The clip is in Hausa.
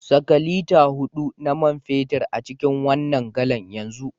Saka lita hudu na man fetur a cikin wannan galan yanzu